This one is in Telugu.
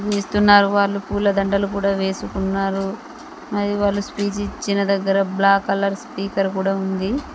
వాళ్ళు పూల దండలు కూడా వేసుకున్నారు. అది వాళ్ళు స్పీచ్ ఇచ్చిన దగ్గర బ్లాక్ కలర్ స్పీకర్ కూడా ఉంది.